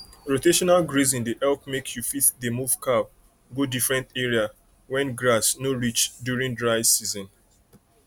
rotational grazing dey help make you fit dey move cow go different area when grass no reach during dry season